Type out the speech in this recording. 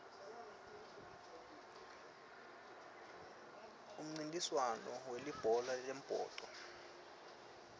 umncintiswand welibhola lembhoco